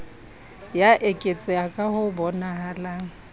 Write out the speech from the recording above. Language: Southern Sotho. ya eketseha ka ho bonahalang